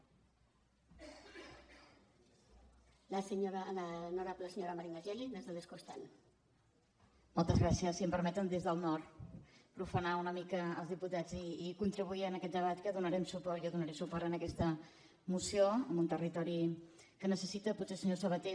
si em permeten des del nord profanar una mica els diputats i contribuir a aquest debat que donarem suport jo donaré suport a aquesta moció amb un territori que necessita potser senyor sabaté